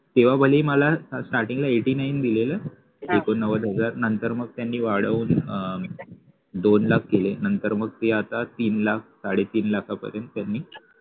तेव्हा भलेही मला starting ला eighty nine दिलेलं एकोणनव्वद नंतर मग त्यांनी वाढवून दोन लाख केले नंतर मग ते आता तीन लाख साडे तीन लाखापर्यंत त्यांनी